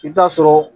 I bɛ taa sɔrɔ